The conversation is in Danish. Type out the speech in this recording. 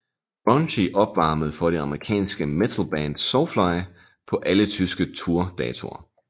Raunchy opvarmede for det amerikanske metal band Soulfly på alle tyske tour datoer